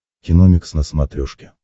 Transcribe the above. киномикс на смотрешке